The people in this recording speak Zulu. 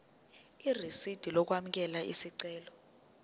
irisidi lokwamukela isicelo